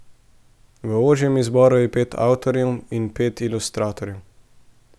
V ožjem izboru je pet avtorjev in pet ilustratorjev.